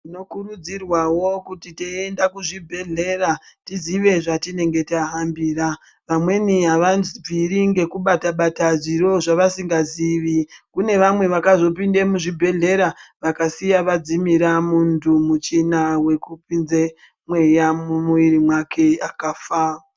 Tinokurudzirwavo kuti teienda kuzvibhedhlera tiziye zvatinenge tahambira. vamweni havabviri nekubata-bata zviro zvavasingazivi. Kune vamwe vakazopinde muzvibhedhlera vakasiya vadzimira muntu muchina vekupinzire mweya mumwiri mwake akafa.